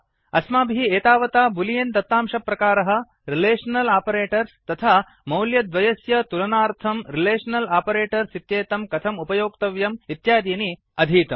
अस्माभिः एतावता बूलियन् दत्तांशप्रकारः रिलेषनल् आपरेटर्स् तथा मौल्यद्वयस्य तुलनार्थम् रिलेषनल् आपरेटर्स् इत्येतं कथम् उपयोक्तव्यम् इत्यादीनि अधीतम्